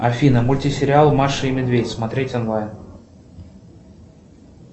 афина мультисериал маша и медведь смотреть онлайн